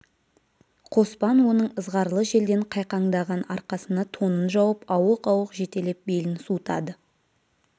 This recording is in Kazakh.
қоспан оның ызғарлы желден қайқаңдаған арқасына тонын жауып ауық-ауық жетелеп белін суытады